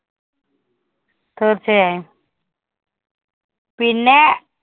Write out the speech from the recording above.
തീർച്ചയായും പിന്നെ.